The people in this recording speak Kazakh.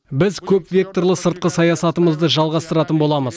біз көпвекторлы сыртқы саясатымызды жалғастыратын боламыз